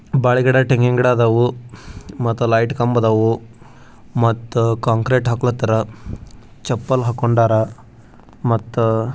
ಬಾಳೆಗಿಡ ತೆಂಗಿನಗಿಡ ಆದವು ಲೈಟ್ ಕಂಬ ಆದವು ಮತ್ತು ಕಾಂಕ್ರೆಟ್ ಹಾಕೋಲ್ಕತರ ಚಪ್ಪಲ್ ಹಾಕೊಂಡರ ಮತ್ತು....